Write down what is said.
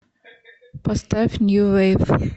поставь нью вейв